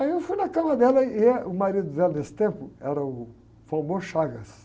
Aí eu fui na cama dela e, eh, o marido dela nesse tempo era o.